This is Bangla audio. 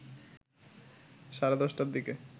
সাড়ে ১০ টার দিকে